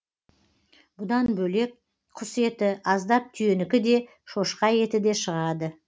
бұдан бөлек құс еті аздап түйенікі де шошқа еті де шығады